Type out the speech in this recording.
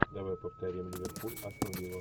давай повторим ливерпуль астон вилла